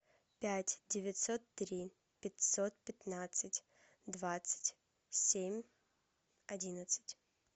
пять девятьсот три пятьсот пятнадцать двадцать семь одиннадцать